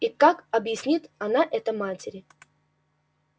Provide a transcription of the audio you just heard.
и так объяснит она это матери